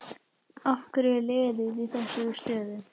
Af hverju er liðið í þessari stöðu?